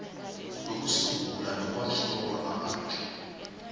ukusungulwa nokwakhiwa kwamabandla